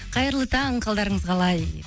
қайырлы таң қалдарыңыз қалай